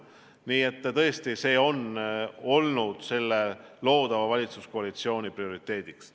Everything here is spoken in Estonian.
Nii et tõesti see on üks loodava valitsuskoalitsiooni prioriteet.